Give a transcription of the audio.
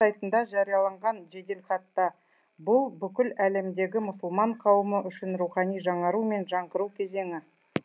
сайтында жарияланған жеделхатта бұл бүкіл әлемдегі мұсылман қауымы үшін рухани жаңару мен жаңғыру кезеңі